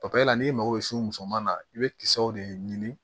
papaye n'i mago be s'u muso ma i be kisɛw de ɲini